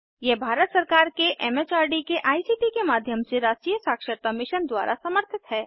यह भारत सरकार के एमएचआरडी के आईसीटी के माध्यम से राष्ट्रीय साक्षरता मिशन द्वारा समर्थित है